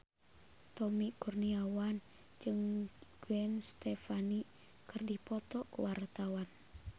Tommy Kurniawan jeung Gwen Stefani keur dipoto ku wartawan